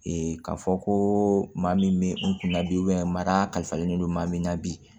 k'a fɔ ko maa min bɛ n kun na bi mara kalifalen don maa min na bi